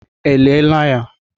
E lie la ya?